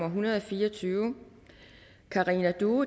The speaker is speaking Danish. en hundrede og fire og tyve karina due